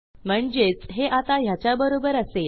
म्हणजेच हे आता ह्याच्याबरोबर असेल